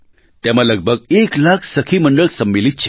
તેમાં લગભગ 1 લાખ સખી મંડળ સમ્મિલિત છે